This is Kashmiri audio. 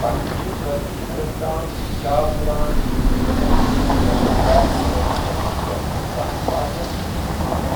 پکھہٕ چھِ کٲفی حدَس تام کھِچاو دِوان، ییٚمۍ کہِ وجہہ سۭتۍ شٹل کاک چھےٚ أکِس فاصٕلَس تام واریٛاہ سُست گژھان۔